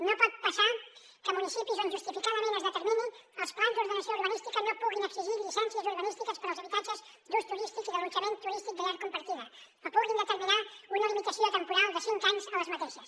no pot passar que municipis on justificadament es determinin els plans d’ordenació urbanística no puguin exigir llicències urbanístiques per als habitatges d’ús turístic i d’allotjament turístic de llar compartida o puguin determinar una limitació temporal de cinc anys a aquestes